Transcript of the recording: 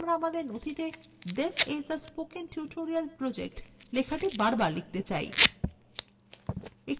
ধরুন আমরা আমাদের নথিতে this is a spoken tutorial project লেখাটি বারবার লিখতে চাই